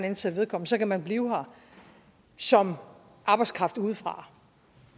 ansætte vedkommende så kan man blive her som arbejdskraft udefra